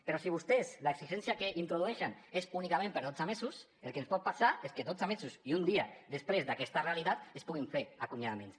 però si vostès l’exigència que introdueixen és únicament per dotze mesos el que ens pot passar és que dotze mesos i un dia després d’aquesta realitat es puguin fer acomiadaments